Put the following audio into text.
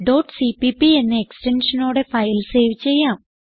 cpp എന്ന എക്സ്റ്റൻഷനോടെ file save ചെയ്യാം